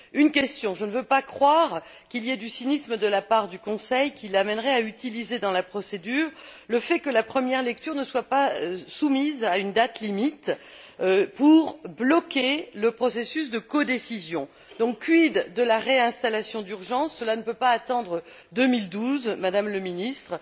Une question je ne veux pas croire qu'il y ait du cynisme de la part du Conseil, qui l'amènerait à utiliser dans la procédure le fait que la première lecture ne soit pas soumise à une date limite pour bloquer le processus de codécision. Donc, quid de la réinstallation d'urgence? Cela ne peut pas attendre 2012, Madame la Ministre.